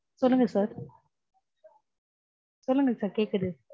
சொல்லுங்க sir சொல்லுங்க sir கேக்குது.